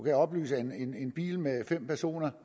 jeg oplyse at en bil med fem personer